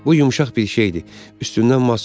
Bu yumşaq bir şeydir, üstündən maz çəkirlər.